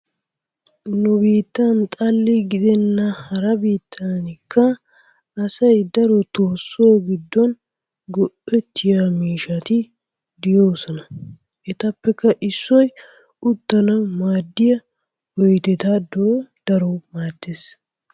Nu biittan xalli gidenna hara biittankka asay darotoo so giddon go''ettiyo miishshati de'oosona. Etappe issoy uttanawu maaddiya odettadoy daruwa maaddees.